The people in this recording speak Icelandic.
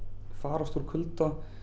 farast úr kulda